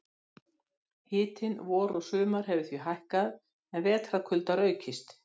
Hitinn vor og sumar hefur því hækkað en vetrarkuldar aukist.